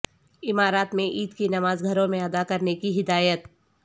امارات میں عید کی نمازگھروں میں ادا کرنے کی ہدایت